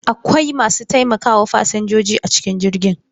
Akwai masu taimakawa fasinjoji a cikin jirgin.